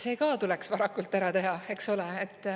See ka tuleks varakult ära teha, eks ole.